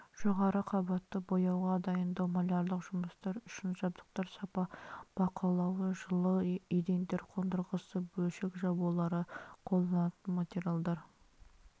жоғары қабатты бояуға дайындау малярлық жұмыстар үшін жабдықтар сапа бақылауы жылы едендер қондырғысы бөлшек жабулары қолданылатын материалдар